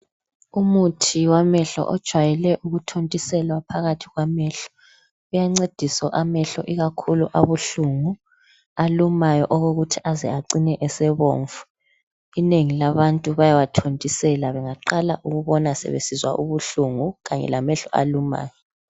Umuthi wamehlo ojwayele ukuthontiselwa phakathi kwamehlo. Uyancedisa amehlo ikakhulu abuhlungu kumbe alumayo okokuthi aze acine esebomvu. Inengi labantu bayawathontisela bengaqala ukubona sebesizwa ubuhlungu kanye lamehlo alumayo.